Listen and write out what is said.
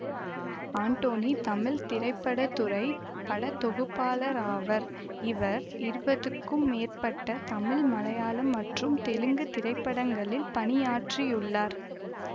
ஆண்டோனி தமிழ் திரைப்பட துறை படத்தொகுப்பாளராவர் இவர் இருபதுக்கும் மேற்பட்ட தமிழ் மலையாளம் மற்றும் தெலுங்கு திரைப்படங்களில் பணியாற்றியுள்ளார்